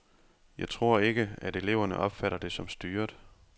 Jeg tror ikke, at eleverne opfatter det som styret.